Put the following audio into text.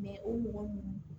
o mɔgɔ ninnu